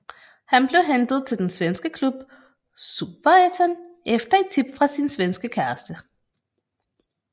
Han blev hentet til den svenske klub i Superettan efter et tip fra sin svenske kæreste